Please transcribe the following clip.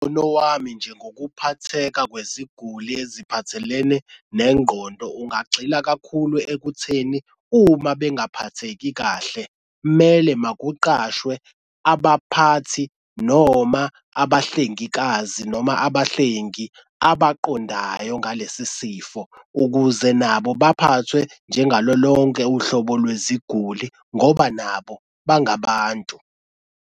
Umbono wami nje ngokuphatheka kweziguli eziphathelene nengqondo ungagxila kakhulu ekutheni uma bengaphatheki kahle mele makuqashwe abaphathi noma abahlengikazi noma abahlengi abaqondayo ngalesi sifo, ukuze nabo baphathwe njengalo lonke uhlobo lweziguli ngoba nabo bangabantu.